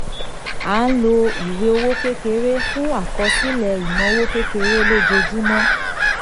a lo ìwé owó kekere fún àkọsílẹ̀ ináwó kékeré lojoojúmọ́.